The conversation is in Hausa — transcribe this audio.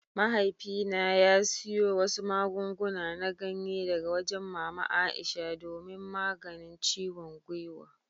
Mahaifina ya siyo wasu magunguna na ganye daga wajen mama Aisha domin maganin ciwon gwiwa.